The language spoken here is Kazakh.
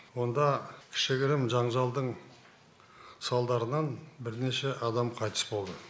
онда кішігірім жанжалдың салдарынан бірнеше адам қайтыс болды